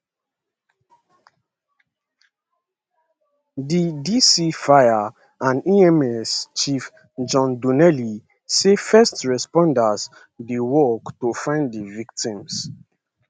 di dc fire and ems chief john donnelly say first responders dey work to find di victims